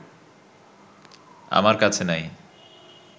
আমার কাছে নাই